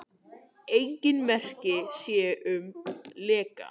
Engin merki séu um leka